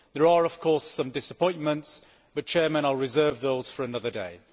There are, of course, some disappointments, but I will reserve those for another day.